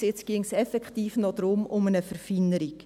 Jetzt geht es effektiv noch um eine Verfeinerung.